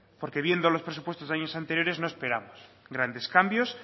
porque viendo los presupuestos de años anteriores no esperamos grandes cambios